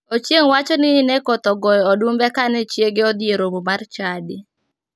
Ochieng wacho ni ne koth ogoyo odumbe kane chiege odhi e romo mar chadi.